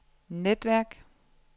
netværk